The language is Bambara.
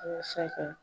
Walasa ka